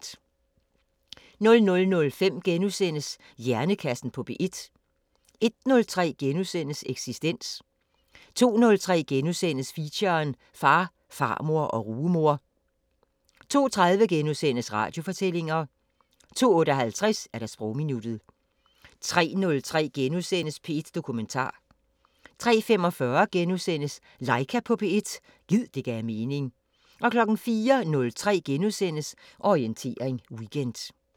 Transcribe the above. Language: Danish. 00:05: Hjernekassen på P1 * 01:03: Eksistens * 02:03: Feature: Far, far og rugemor * 02:30: Radiofortællinger * 02:58: Sprogminuttet 03:03: P1 Dokumentar * 03:45: Laika på P1 – gid det gav mening * 04:03: Orientering Weekend *